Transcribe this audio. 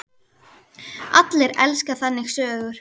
Allir elska þannig sögur.